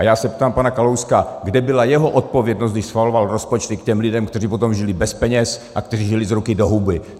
A já se ptám pana Kalouska, kde byla jeho odpovědnost, když schvaloval rozpočty k těm lidem, kteří potom žili bez peněz a kteří žili z ruky do huby.